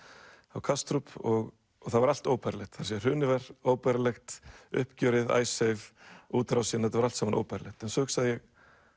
á Kastrup og það var allt óbærilegt hrunið var óbærilegt uppgjörið Icesave útrásin þetta var allt saman óbærilegt en svo hugsaði